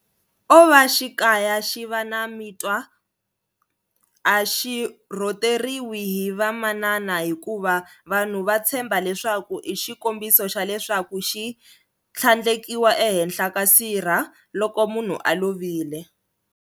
Ova xikaya xi va na mitwa a xi rhoteriwi hi vamanana hikuva vanhu va tshemba leswaku i xikombiso xa leswaku xi tlhandlekiwa ehenhla ka sirha loko munhu a lovile.